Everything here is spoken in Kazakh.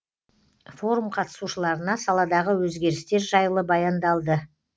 форум қатысушыларына саладағы өзгерістер жайлы баяндалды